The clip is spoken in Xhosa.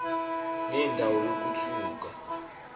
nenda wo yokuthukwa